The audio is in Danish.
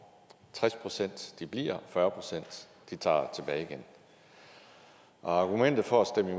tres procent bliver og fyrre procent tager tilbage igen argumentet for at stemme